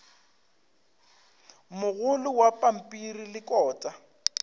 mogolo wa pampiri le kota